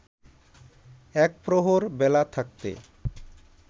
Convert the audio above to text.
একপ্রহর বেলা থাকতে